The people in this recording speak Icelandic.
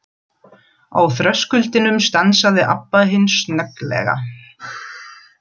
Á þröskuldinum stansaði Abba hin snögglega.